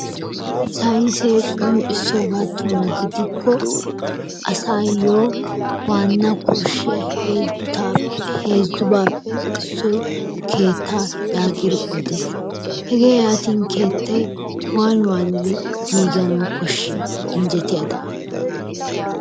Saynisse qonccissogadanni gidiko asa na koshiyaa huzu bappe issoy keettaa yagiddi oddis, hege yanin kettay wanni wanni giganawu koshi? injjetiyadan.